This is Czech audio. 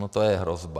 Ona to je hrozba.